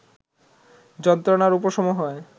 যন্ত্রণার উপশম হয়